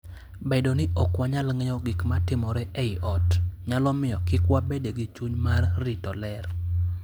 Bedo ni ok wang'eyo gik matimore ei ot, nyalo miyo kik wabed gi chuny mar rito ler.